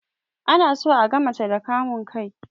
Ana so aga mace da kamun kai